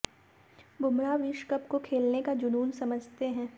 बुमराह विश्व कप को खेलने का जुनून समझते हैं